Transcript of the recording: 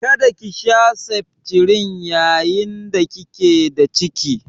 Kada ki sha septrin yayin da kike da ciki?